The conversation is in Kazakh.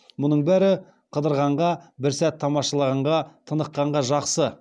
мұның бәрі қыдырғанға бір сәт тамашалағанға тыныққанға жақсысы жақсы ғой